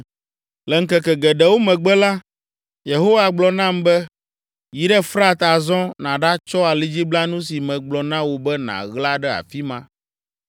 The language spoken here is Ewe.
Le ŋkeke geɖewo megbe la, Yehowa gblɔ nam be, “Yi ɖe Frat azɔ nàɖatsɔ alidziblanu si megblɔ na wò be nàɣla ɖe afi ma.”